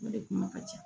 O de kuma ka ca